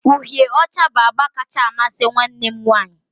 uhịe ọcha bụ agba kacha amasị nwanne m nwanyị